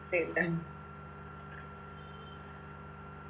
പിന്നെ